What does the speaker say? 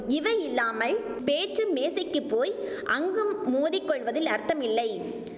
இவை இல்லாமல் பேச்சு மேசைக்கு போய் அங்கும் மோதி கொள்வதில் அர்த்தமில்லை